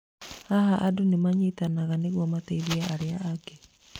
Haha, andũ nĩ manyitanaga nĩguo mateithie arĩa angĩ.